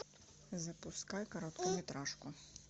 запускай короткометражку